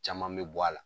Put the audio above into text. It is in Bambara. Caman bɛ bɔ a la